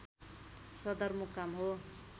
सदरमुकाम हो